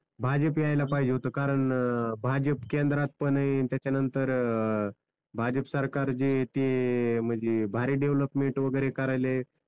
भाजप यायला पाहिजे होत कारण भाजप केंद्रात पण आहे न त्याच्यानंतर भाजप सरकार जे ते म्हणजे भारी डेव्हलोपमेंट वगैरे करायलय,